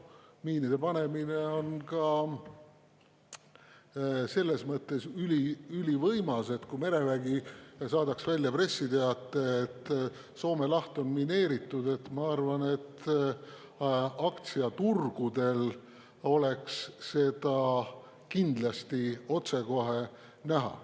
Miinide panemine on ka selles mõttes ülivõimas, et kui merevägi saadaks välja pressiteate, et Soome laht on mineeritud, siis, ma arvan, aktsiaturgudel oleks seda kindlasti otsekohe näha.